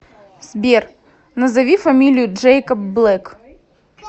сбер назови фамилию джэйкоб блэк